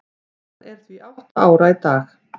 Hann er því átta ára í dag.